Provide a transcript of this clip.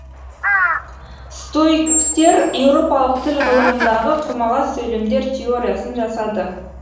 стоиктер еуропалық тіл ғылымындағы құрмалас сөйлемдер теориясын жасады